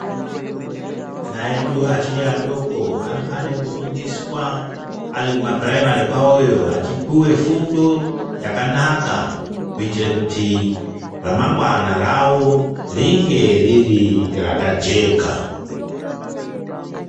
Ana edu achiri adoko anofane kufundiswa ari kumapuraimari kwawoyo achipuwe fundo Yakanaka kuitire kuti remangwana rawo ringe rii rakajeka.